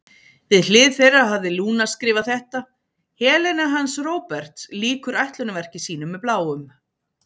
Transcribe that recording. Við hlið þeirra hafði Lúna skrifað þetta: Helena hans Róberts lýkur ætlunarverki sínu með Bláum.